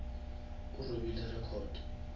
o robile record